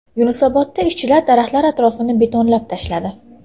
Yunusobodda ishchilar daraxtlar atrofini betonlab tashladi.